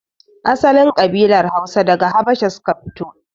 Asalin kabilar Hausa daga habasha suka fito